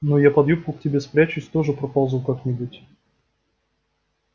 ну а я под юбку к тебе спрячусь и тоже проползу как-нибудь